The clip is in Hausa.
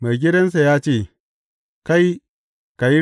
Maigidansa ya ce, Kai ka yi riƙon birane biyar.’